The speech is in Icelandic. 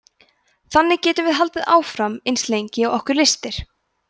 þannig getum við haldið áfram eins lengi og okkur lystir